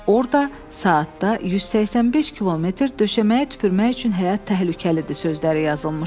Orda saatda 185 kilometr döşəməyə tüpürmək üçün həyat təhlükəlidir sözləri yazılmışdı.